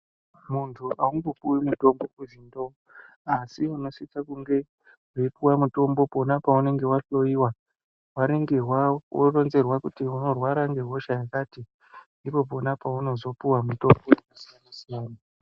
Muntu angopuwi mitombo kuzwi ndoo asi unosiso kunge weiupuwe mutombo pona paunenge wahloiwa waringirwa woronzerwa kuti unorwara ngehosha yakati ndipo pona pounozopuwa mitombo yakasiyana siyana.